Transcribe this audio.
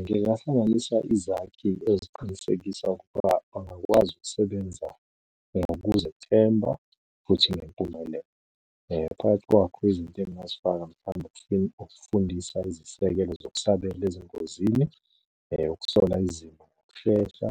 Ngingahlanganisa izakhi eziqinisekisa ukuba bangakwazi ukusebenza ngokuzethemba, futhi ngempumelelo. Phakathi kwakho izinto engingazifaka mhlambe ukufundisa izisekelo zokusabela ezingozini. ukusola izimo, shesha.